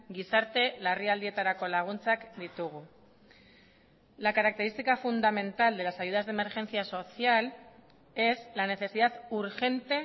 gizarte larrialdietarako laguntzak ditugu la característica fundamental de las ayudas de emergencia social es la necesidad urgente